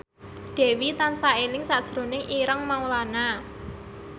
Dewi tansah eling sakjroning Ireng Maulana